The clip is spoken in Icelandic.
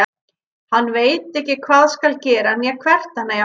Hann veit ekki hvað skal gera né hvert hann eigi að fara.